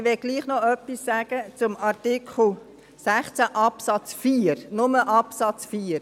Trotzdem möchte ich noch etwas sagen zu Artikel 16 Absatz 4, nur zu Absatz 4: